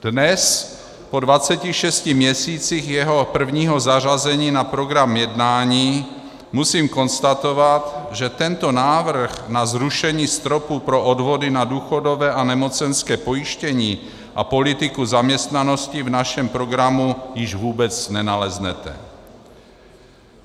Dnes, po 26 měsících jeho prvního zařazení na program jednání, musím konstatovat, že tento návrh na zrušení stropu pro odvody na důchodové a nemocenské pojištění a politiku zaměstnanosti v našem programu již vůbec nenaleznete.